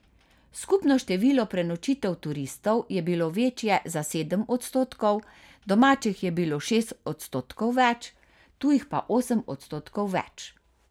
Skupno število prenočitev turistov je bilo večje za sedem odstotkov, domačih je bilo šest odstotkov več, tujih pa osem odstotkov več.